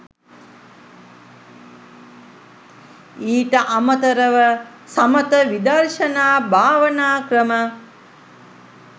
ඊට අමතරව සමථ විදර්ශනා භාවනා ක්‍රම